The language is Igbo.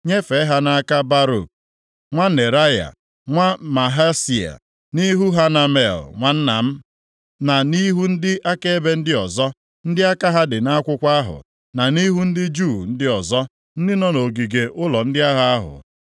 nyefee ha nʼaka Baruk nwa Neraya, nwa Mahseia, nʼihu Hanamel nwanna m, na nʼihu ndị akaebe ndị ọzọ, ndị aka ha dị nʼakwụkwọ ahụ, na nʼihu ndị Juu ndị ọzọ, ndị nọ nʼogige ụlọ ndị agha ahụ.